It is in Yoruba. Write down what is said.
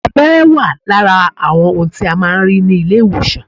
Abẹ́rẹ́ wà lára àwọn ohun tí a máa ń rí ní ilé ìwòsàn